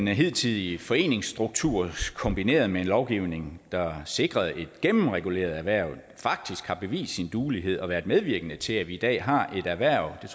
hidtidige foreningsstruktur kombineret med en lovgivning der sikrede et gennemreguleret erhverv faktisk har bevist sin duelighed og været medvirkende til at vi i dag har et erhverv det